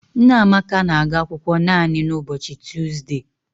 Nneamaka na-aga akwụkwọ naanị n'ụbochị Tuuzde